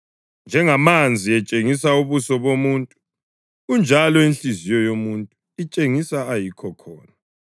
Njengamanzi etshengisa ubuso bomuntu, kanjalo inhliziyo yomuntu itshengisa ayikho khona.